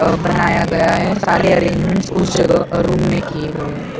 बनाया गया है सारे अरेंजमेंट्स उस जगह अह रूम में किए गए हैं।